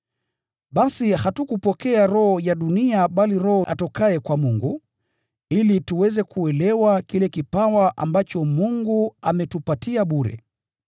Basi hatukupokea roho ya dunia bali Roho atokaye kwa Mungu, ili tuweze kuelewa kile kipawa ambacho Mungu ametupatia bure.